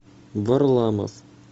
варламов